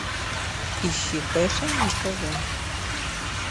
ищи фэшн на тв